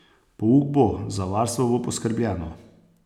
Pouk bo, za varstvo bo poskrbljeno.